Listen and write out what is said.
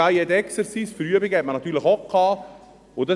Für Übungen hatte man natürlich auch das «Cahier d’exercices»;